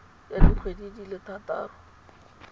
ya dikgwedi di le thataro